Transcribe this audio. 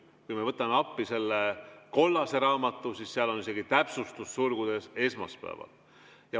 Kui me võtame appi selle kollase raamatu, siis seal on isegi täpsustus sulgudes: esmaspäeval.